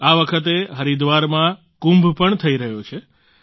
આ વખતે હરિદ્વારમાં કુંભ પણ થઈ રહ્યો છે